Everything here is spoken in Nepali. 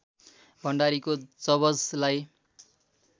भण्डारीको जबजलाई